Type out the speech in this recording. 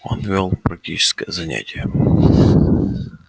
он вёл практическое занятие